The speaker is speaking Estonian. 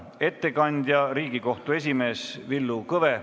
Ettekandja on Riigikohtu esimees Villu Kõve.